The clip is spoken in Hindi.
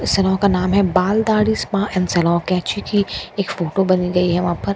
सलून का नाम हैं Baal Daadhi spa and salon केची की एक फोटो बनी हुई है वहाँ पर --